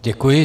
Děkuji.